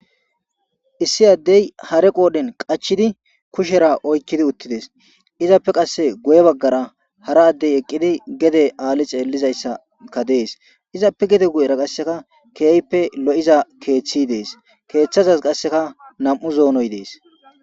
issi addey hare qoodhen qachidi kushera oykkidi uttides izappe qasse goye baggara hara addey eqqidi gede aali xeellizayssaka dees izappe gede guyera qasseka keehippe lo7iza keeththi dees keeththazaz qasseka nam7u zoonoy dees.